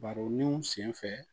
Baro ni sen fɛ